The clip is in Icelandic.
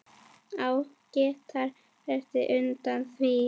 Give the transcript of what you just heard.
Á gítar bætir Unnar við.